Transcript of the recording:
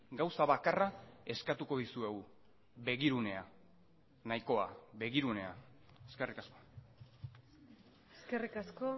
gauza bakarra eskatuko dizuegu begirunea nahikoa begirunea eskerrik asko eskerrik asko